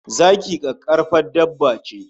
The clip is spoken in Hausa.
Zaki kakkarfan dabba ce